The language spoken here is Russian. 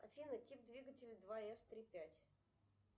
афина тип двигателя два эс три пять